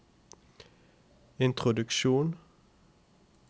introduksjon